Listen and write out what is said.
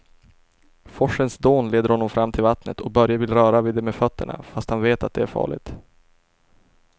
Forsens dån leder honom fram till vattnet och Börje vill röra vid det med fötterna, fast han vet att det är farligt.